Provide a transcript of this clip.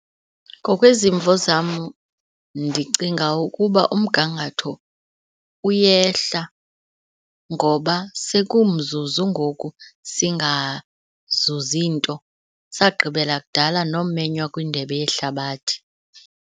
Ngokwezimvo zam ndicinga ukuba umgangatho uyehla ngoba sekumzuzu ngoku singazuzi nto, sagqibela kudala nomenywa kwindebe yehlabathi.